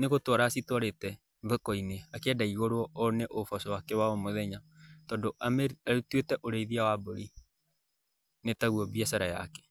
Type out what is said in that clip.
Nĩ gũtwara acitwarĩte thoko-inĩ akĩenda igũrwo ona ũboco wake wa o mũthenya. Tondũ atuĩte ũrĩithia wa mbũri nĩ taguo mbiacara yake.